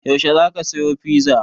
Yaushe za ka saya fiza?